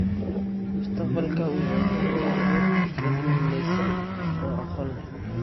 Mustaqbalka wuxuu ku xiran yahay dad midaysan oo aqoon leh.